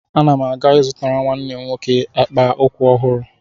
Ana m aga ị zụtara nwa m nwoke akpa ụkwụ ọhụrụ.